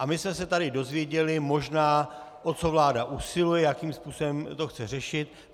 A my jsme se tady dozvěděli možná, o co vláda usiluje, jakým způsobem to chce řešit.